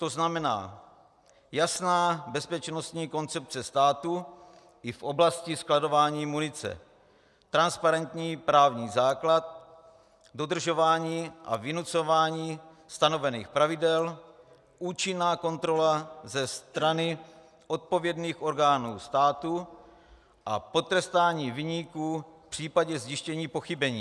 To znamená jasná bezpečnostní koncepce státu i v oblasti skladování munice, transparentní právní základ, dodržování a vynucování stanovených pravidel, účinná kontrola ze strany odpovědných orgánů státu a potrestání viníků v případě zjištění pochybení.